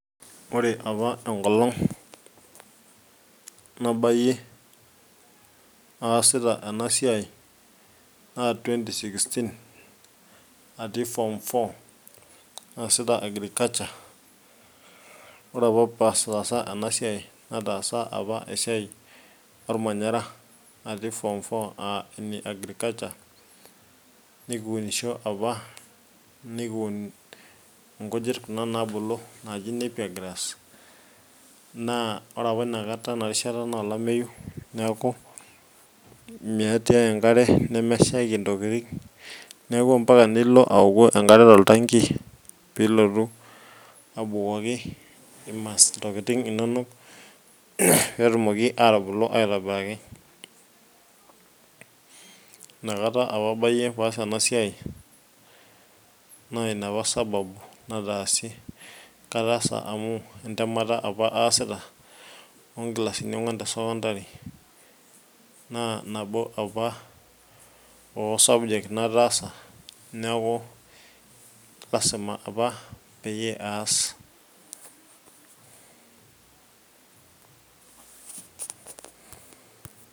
ore apa enkolong nabayie, aasita ena siai naa twenty sixteen atii form four naasita agriculture ore apa pee ataasa ena siai, nataasa apa esiai olmanyara aa ene agriculture nikiunisho apa. nikiun inkujit kuna naabulu. naaji napier grass naa ore apa ina kata ina rishata naa olameyu, neeku meetae enkare, nemeshaiki ntokitin, neku mpaka nilo aoku enkare toltanki, pee ilotu abukoki, intokitin inonok, pee etumoki atubulu aitobiraki, inakata apa abayie pee aas ena siai, naa ina apa sababu nataasie. kataasa amu entemata apa aasita oo nkilasini onguan te sekondari. naa nabo apa oo subject nataasa, neeku lasima apa peyie aas.